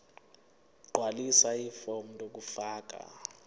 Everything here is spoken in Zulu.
gqwalisa ifomu lokufaka